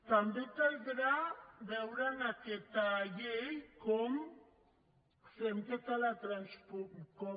també caldrà veure en aquesta llei com fem tota la transpo